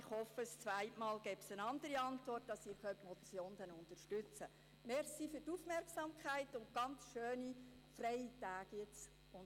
Ich hoffe, beim zweiten Mal werde es eine andere Antwort geben, damit Sie die Motion unterstützen können.